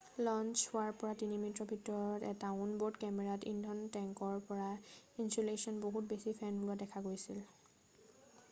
launch হোৱাৰ প্ৰায় 3 মিনিটৰ ভিতৰত এটা অন-ব'ৰ্ড কেমেৰাত ইন্ধনৰ টেংকৰ পৰা ইনছুলেশ্বনৰ বহুত বেছি ফেন ওলোৱা দেখা গৈছিল